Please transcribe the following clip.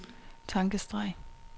tankestreg